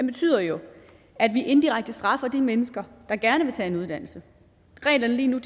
betyder jo at vi indirekte straffer de mennesker der gerne vil tage en uddannelse reglerne lige nu